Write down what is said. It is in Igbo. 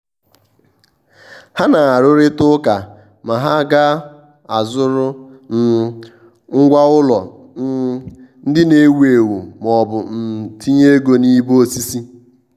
há nà-árụ́rị́tà ụ́kà mà há ga-azụ́rụ um ngwá ụ́lọ̀ um ndị nà-èwú éwú ma ọ́ bụ um tinye ego n’ìbè osisi.